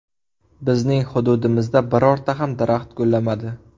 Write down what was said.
Bizning hududimizda birorta ham daraxt gullamadi.